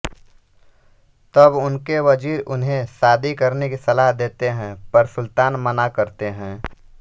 तब उनके वजीर उन्हें शादी करने की सलाह देते है पर सुल्तान मना करते है